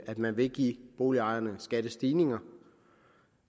at man ville give boligejerne skattestigninger